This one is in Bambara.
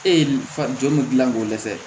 E ye fa jɔn mun gilan k'o dɛsɛ